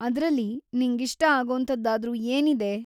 ಅದ್ರಲ್ಲಿ ನಿಂಗಿಷ್ಟ ಆಗೋಂಥದ್ದಾದ್ರೂ ಏನಿದೆ?